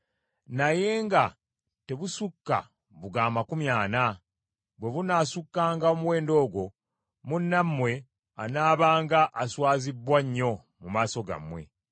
naye nga tebusukka buga amakumi ana. Bwe bunaasukkanga omuwendo ogwo munnammwe anaabanga aswazibbwa nnyo mu maaso gammwe.